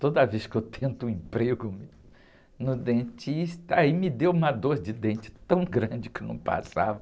Toda vez que eu tento um emprego no dentista, aí me deu uma dor de dente tão grande que não passava.